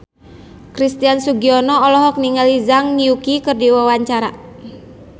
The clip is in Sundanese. Christian Sugiono olohok ningali Zhang Yuqi keur diwawancara